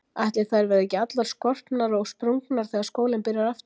Ætli þær verði ekki allar skorpnar og sprungnar þegar skólinn byrjar aftur.